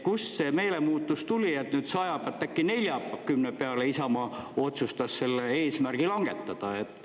Kust see meelemuutus tuli, et nüüd 100 pealt äkki 40 peale Isamaa otsustas selle eesmärgi langetada?